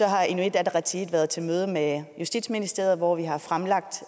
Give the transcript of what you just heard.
har inuit ataqatigiit været til møde med justitsministeriet hvor vi har fremlagt